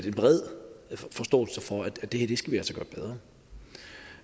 en bred forståelse for at det